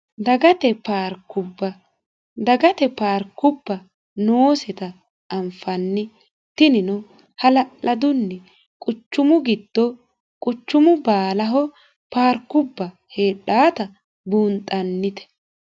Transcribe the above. dagate paarikubba dagate paarikubba noosita anfanni tinino hala'ladunni quchumu giddo quchumu baalaho paarkubba heedhaata buunxannite